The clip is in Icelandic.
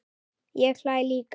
Ég hlæ líka.